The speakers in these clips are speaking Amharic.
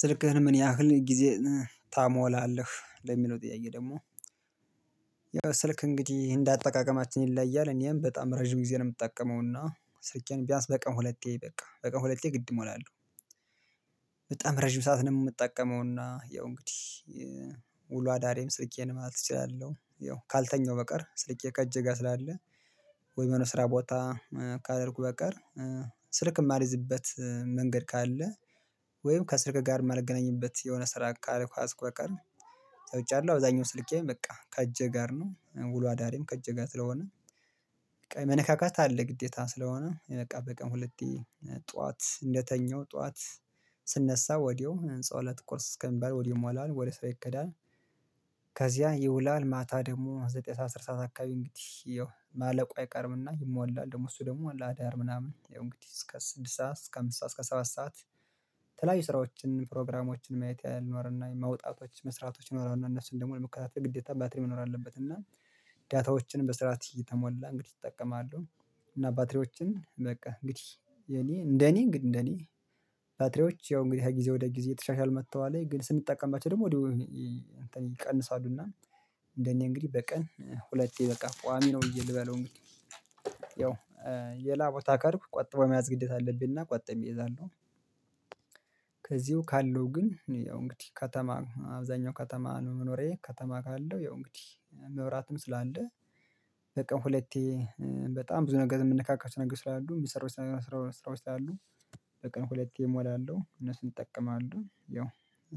ስልክህን ምን ያህል ጊዜ ታሞላለህ ለሚለው ጥያቄ ደግሞ? ያው ስልክ እንግዲህ እንደ አጠቃቀማችን ይለያያል እኔም በጣም ረጅም ጊዜ ነው የምጠቀመው እና ስልኬን ቢያንስ በቀን ሁለቴ በቃ በቀን ሁለቴ ግድ እሞላለሁ። በጣም ረጅም ሰዓት ነው ምጠቀመውና ያው እንግዲህ ውሎ አዳ ስርኬ ማለት እችላለሁ። ያው ካልተኛው በቀር ስልኬ ከእጄ ጋር ስላለ ወይ መኖር ስራ ቦታ ካደረኩ በቀር። ስልክ የማልይዝበት መንገድ ካለ ወይም ከስርቅ ጋር ማልገናኝበት የሆነ ስራ ካልኩ አትቆቅም። ሰውቻለሁ አብዛኛው ስልኬም በቃ ከእጄ ጋር ነው ውሎ አዳሪም ከእጅህ ጋር ስለሆነ። መነካካት አለ ግዴታ ስለሆነ ቀን በቀን ጠዋት እንደተኛው ጠዋት ስነሳ ወዲያው ህንጸው እለት ቁርስ እስከሚባል ወዲያው ይሞላል ወደ ሰው ይከዳል። ከዚያ ይውላል ማታ ደግሞ ዘጠኝ ሰዓት አስር ሰዓት አካባቢ እንግዲህ ማለቁ አይቀርም። እና ይሞላል ደግሞ እሱ ደግሞ ለአዳር ምናምን ያው እንግዲህ እስከ ስድስት ሰዓት እስከ አምስት ሰዓት እስከ ሰባት ሰዓት። የተለያዩ ስራዎችን ፕሮግራሞችን ማየት ያህል ነው እና መውጣቶች መስራቶች ይኖራሉ እና እነሱን ደግሞ ለመከታተል ግዴታ ባትሪ መኖር አለበት። እና— ዳታዎችን በስራት እየተሞላ እንግዲህ እጠቀማለሁኝ እና ባትሪዎችን በቃ እንግዲህ የእኔ እንደ እኔ እንግዲህ ግን እንደ እኔ ባትሪዎች ያው እንግዲህ ከጊዜ ወደ ጊዜ እየተሻሻሉ መጥተዋል። ግን ስንጠቀምባቸው ደግሞ ወዲያው ይቀንሳሉ። እና እንደኔ እንግዲህ በቀን ሁለቴ በቃ ቋሚ ነው ብየ ልበለው እንግዲህ ያው የላቦታ ከሄርኩ ቆጥቦ መያዝ ግዴታ አለብኝ። እና ቆጥበ እይዛለሁ። ከዚሁ ካለው ግን ያው እንግዲህ ከተማ አብዛኛው ከተማ ነው መኖሬ ከተማ ካለው ያው እንግዲህ መብራትም ስላለ—። በቀን ሁለቴ በጣም ብዙ ነገር የምንነካካቸው ነገር ስላሉ የሚሰሩት ነገር ስራ ስራዎች ስላሉ—። በቀን ሁለቴ እሞላለሁ እነሱን እጠቀማለሁ ያው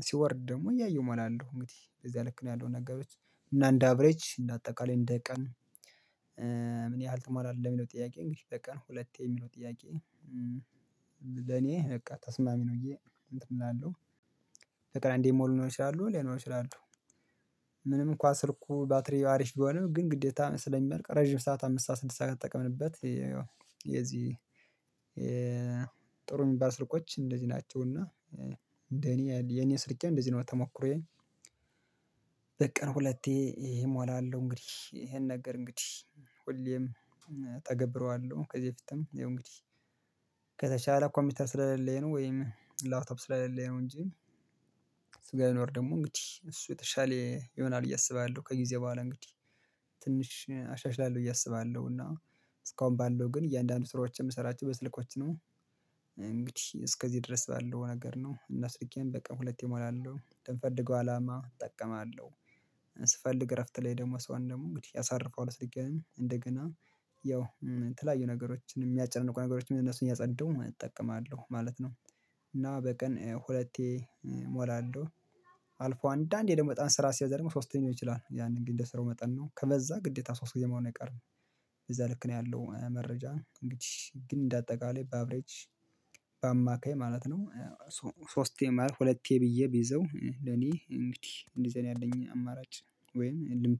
ሲወርድ ደግሞ እያየሁ እሞላለሁ እንግዲህ በዛ ልክ ነው ያለው ነገሮች እና እንደ አብረጅ እንደ አጠቃላይ እንደ ቀን። ያህል ተሞላለህ የሚለው ጥያቄ እንግዲህ በቀን ሁለቴ የሚለው ጥያቄ። ለእኔ በቃ ተስማሚ ነው ብዬ እንትን እላለሁ። በቀን አንደ ሞሉ ይችላሉ ሌሎች ይችላሉ። ምንም እንኳን ስልኩ ባትሪው አሪፍ ቢሆንም ግን ግዴታ ስለሚመርቅ ረጅም ሰዓት አምስት ሰዓት ስድስት ሰዓት ከተጠቀምንበት—። የዚህ ጥሩ የሚባል ስልኮች እንደዚህ ናቸው እና። እንደ እኔ የእኔ ስልኬ እንደዚህ ነው ተሞክሮዬኝ። በቀን ሁለቴ እሞላለሁ እንግዲህ ይሄን ነገር እንግዲህ ሁሌም እተገብረዋለሁ ከዚህ በፊትም ያው እንግዲህ ከተቻለ ኮምፒውተር ስለሌለኝ ነው ወይም ላፕቶፕ ስለሌለኝ ነው እንጂ—። ስጋ ሊኖር ደግሞ እንግዲህ እሱ የተሻለ ይሆናል ብዬ አስባለሁ ከጊዜ በኋላ እንግዲህ ትንሽ አሻሽላለሁ ብዬ አስባለሁ። እና እስካሁን ባለው ግን እያንዳንዱ ስራዎች የምሰራቸው በስልኮች ነው። እንግዲህ እስከዚህ ድረስ ባለው ነገር ነው እና ስልኬን በቀን ሁለት እሞላለሁ ለሚፈልገው አላማ እጠቀማለሁ። ስፈልግ እረፍት ላይ ደግሞ ሰሆን ደግሞ እንግዲህ ያሳርፈዋል ስልኬን እንደገና ያው የተለያዩ ነገሮችን የሚያጨናንቁ ነገሮችን እነሱን እያጸዳው እጠቀማለሁ ማለት ነው። እና በቀን ሁለቴ— ሞላለሁ። አልፎ አንዳንዴ ደግሞ በጣም ስራ ሲያዘር ደግሞ ሶስተኛው ይችላል ያንን ግን እንደ ስራው መጠን ነው ከበዛ ግዴታ ሶስት ጊዜ መሆን አይቀርም። እዛ ልክ ነው ያለው መረጃ እንግዲህ ግን እንደ አጠቃላይ በአብሬጅ— ማለት ነው። ሶስቴ ማለት ሁለቴ ብዬ ቢይዘው ለእኔ እንግዲህ እንደዚህ ያለኝን አማራጭ ወይም ልምድ—